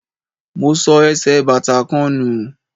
Mo sọ ẹsẹ̀ bàtà kan nù.